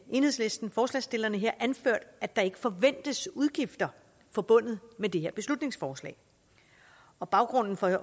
enhedslisten forslagsstillerne anført at der ikke forventes udgifter forbundet med det her beslutningsforslag og baggrunden for at